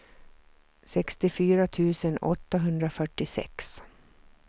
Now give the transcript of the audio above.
sextiofyra tusen åttahundrafyrtiosex